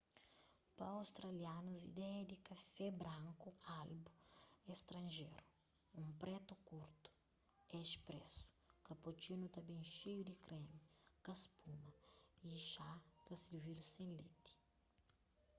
pa australianus ideia di kafé branku albu” é stranjeru. un pretu kurtu é espresso” cappuccino ta ben xeiu di kremi ka spuma y xá ta sirvidu sen leti